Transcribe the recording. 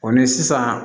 Ɔ ni sisan